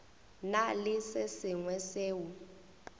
na le se sengwe seo